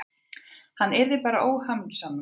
Hann yrði bara óhamingjusamur, greyið.